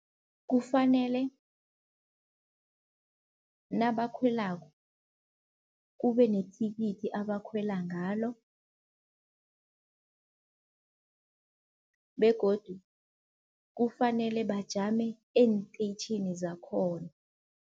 Kufanele nabakhulako kube nethikithi abakhwela ngalo begodu kufanele bajame eenteyitjhini zakhona.